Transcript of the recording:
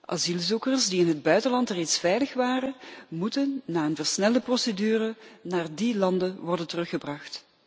Asielzoekers die in het buitenland reeds veilig waren moeten na een versnelde procedure naar die landen worden teruggebracht.